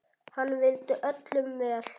Hann vildi öllum vel.